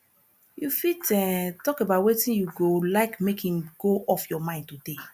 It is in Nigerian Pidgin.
you fit um talk about wetin you go like make im go off your mind today